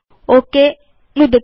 okay नुदतु